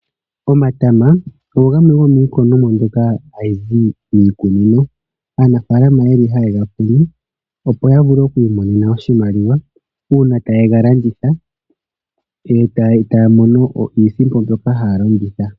Omatama ogo gamwe gomiikunomwa mbyoka ha yi zi miikunino. Aanafaalama oye li haye ga kunu opo ya vule oku imonena iimaliwa uuna ta ye ga landitha e ta ya mono iisimpo.